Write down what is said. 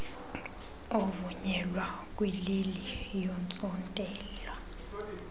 ovunyelwa kwileli yentsontela